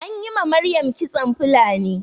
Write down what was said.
Anyi ma Maryam kitson Fulani